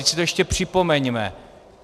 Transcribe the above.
Vždyť si to ještě připomeňme.